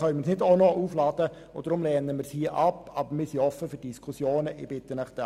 Wir müssen das Ganze grundlegend anschauen, und das können wir dieser StG-Revision nicht auch noch aufladen.